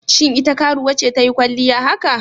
Shin ita karuwa ce ta yi kwalliya haka?